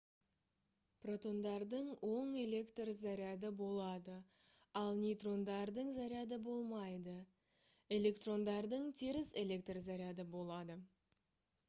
протондардың оң электр заряды болады ал нейтрондардың заряды болмайды электрондардың теріс электр заряды болады